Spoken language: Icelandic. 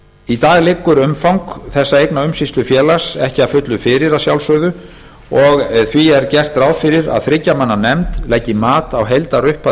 í dag liggur umfang þessa eignaumsýslufélags ekki að fullu fyrir að sjálfsögðu og því er gert ráð fyrir að þriggja manna nefnd leggi mat á heildarupphæð